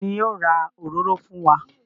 Ta ni yóò ra òróró fún wa?